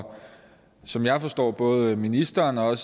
som jeg forstår på både ministeren og